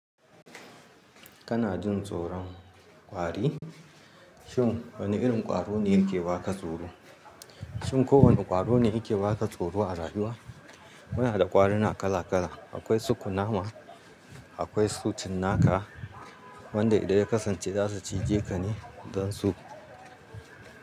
Kana jin tsoron kwari? Shin wane irin kwaro ne yake baka tsoro? Shin kowane kwaro ne yake baka tsoro a rayuwa? Muna da kwarina kala kala. Akwai su kunama, akwai su cinnaka, wanda idan ya kasance za su cije ka ne don su.